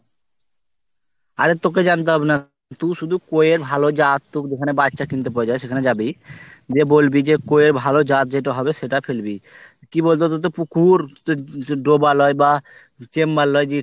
অরে তোকে জানতে হবে না। তুই শুধু কই এর ভালো জাত টুকু ওখানে বাচ্চা কিনতে পাওয়া যাই সেখানে যাবি। গিয়ে বলবি কই এর ভালো জাত যেটা হবে সেটা ফেলবি। কী বলতো তোর তো পুকুর তুই তু ডোবা নয় বা chamber লই যে